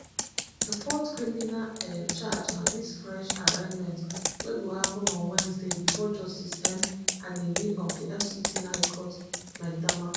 di fourth criminal um charge na dis fresh arraignment wey go happen on wednesday bifor justice m anenih of di fct high court maitama